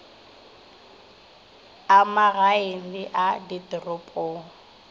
a magaeng le a ditoropong